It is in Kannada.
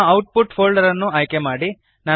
ನಿಮ್ಮ ಔಟ್ಪುಟ್ ಫೋಲ್ಡರ್ ಅನ್ನು ಆಯ್ಕೆಮಾಡಿರಿ